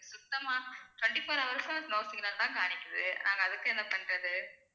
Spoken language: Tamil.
சுத்தமா twenty-four hours உம் no signal தான் காமிக்குது நாங்க அதுக்கு என்ன பண்றது